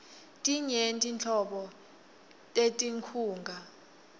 tinyenti nhlobo tetinkhunga